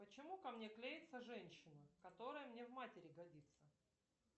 почему ко мне клеется женщина которая мне в матери годится